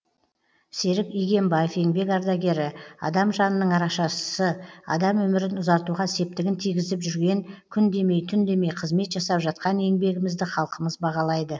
серік игембаев еңбек ардагері адам жанының арашашысы адам өмірін ұзартуға септігін тигізіп жүрген күн демей түн демей қызмет жасап жатқан еңбегімізді халқымыз бағалайды